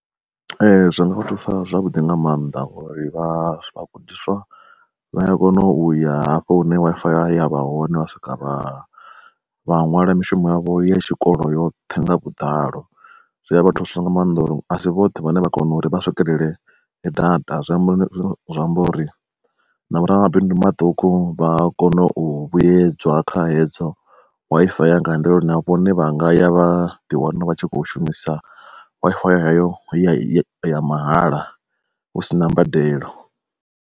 Zwi nga vha thusa zwavhuḓi nga maanḓa uri vha vhagudiswa vha ya kona uya hafho hune Wi-Fi ya yavha hone, vha swika vha vha ṅwala mishumo yavho ya tshikolo yoṱhe nga vhuḓalo. Zwi a vha thusa nga maanḓa uri asi vhoṱhe vhane vha kona uri vha swikelele data zwi amba zwi amba uri navho ramabindu maṱuku vha kona u vhuyedzwa kha hedzo Wi-Fi ya nga uri na vhone vhanga ya vha ḓi wana vha tshi kho shumisa Wi-Fi ya heyo ya mahala hu si na mbadelo.